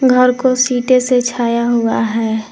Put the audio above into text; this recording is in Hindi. घर को सीटे से छाया हुआ है।